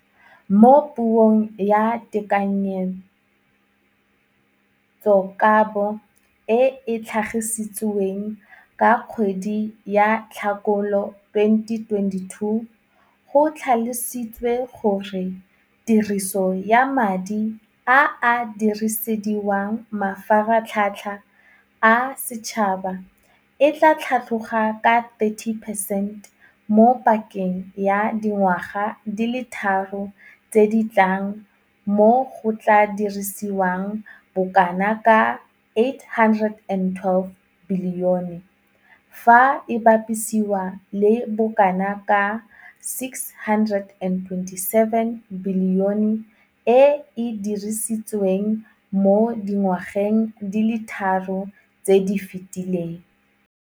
Mo Puong ya Tekanyetsokabo e e tlhagisitsweng ka kgwedi ya Tlhakole 2022 go tlhalositswe gore tiriso ya madi a a dirisediwang mafaratlhatlha a setšhaba e tla tlhatlhoga ka 30 percent mo pakeng ya dingwaga di le tharo tse di tlang mo go tla dirisiwang bokanaka R812 bilione, fa e bapisiwa le bokanaka R627 bilione e e dirisitsweng mo dingwageng di le tharo tse di fetileng.